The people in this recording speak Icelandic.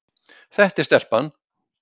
Þetta er stelpan.